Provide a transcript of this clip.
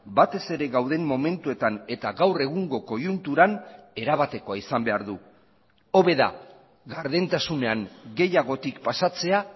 batez ere gauden momentuetan eta gaur egungo koiunturan erabatekoa izan behar du hobe da gardentasunean gehiagotik pasatzea